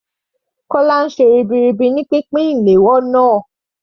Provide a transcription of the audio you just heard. Kola ń ṣe iṣẹ́ ribiribi ní pínpín flier náà.